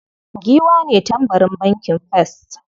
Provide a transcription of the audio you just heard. Giwa ne tambarin bankin first.